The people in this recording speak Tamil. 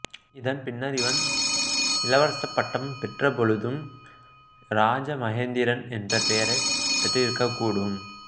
இதன் பின்னர் இவன் இளவரசப் பட்டம் பெற்ற பொழுது இராஜமகேந்திரன் என்ற பெயரைப் பெற்றிருக்கக்கூடும்